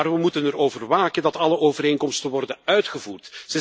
Maar we moeten erover waken dat alle overeenkomsten worden uitgevoerd.